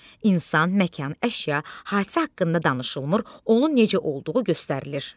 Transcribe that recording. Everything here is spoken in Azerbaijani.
İnsan, məkan, əşya, hadisə haqqında danışılmır, onun necə olduğu göstərilir.